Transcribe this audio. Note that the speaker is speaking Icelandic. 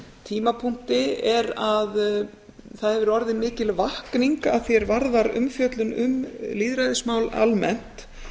tímapunkti er að það hefur orðið mikil vakning að því er varðar umfjöllun um lýðræðismál almennt